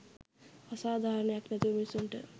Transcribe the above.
අසාධාරණයක් නැතුව මිනිස්සුන්ට